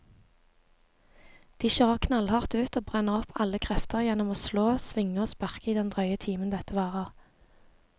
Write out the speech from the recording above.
De kjører knallhardt ut og brenner opp alle krefter gjennom å slå, svinge og sparke i den drøye timen dette varer.